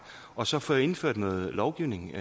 og så få indført noget lovgivning